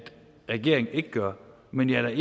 regeringen ikke gør men jeg